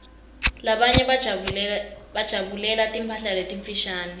labanye bajabulela timphala letimfushane